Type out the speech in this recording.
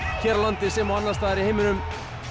hér á landi sem og annars staðar í heiminum